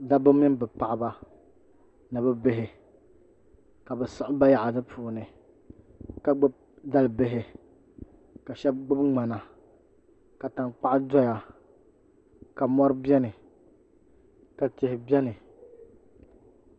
Dabba mini bi paɣaba ni bi bihi ka bi siɣi bayaɣati puuni ka gbubi dalibihi ka shab gbubi ŋmana ka tankpaɣu doya ka mori biɛni ka tihi biɛni